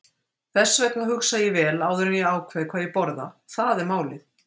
Þess vegna hugsa ég vel áður en ég ákveð hvað ég borða, það er málið.